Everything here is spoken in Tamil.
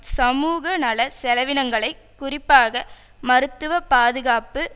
சமூக நலச் செலவினங்களை குறிப்பாக மருத்துவ பாதுகாப்பு